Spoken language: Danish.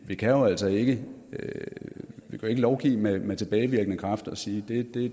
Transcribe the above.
vi kan jo altså ikke lovgive med med tilbagevirkende kraft og sige det